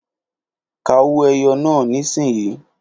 Ka owó ẹyọ náà nísìnyí